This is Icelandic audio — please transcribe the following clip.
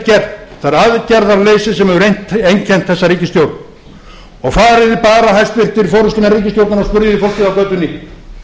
það er aðgerðaleysi sem hefur einkennt þessa ríkisstjórn farið þið bara hæstvirtur forustumenn ríkisstjórnarinnar og spyrjið þið fólkið á götunni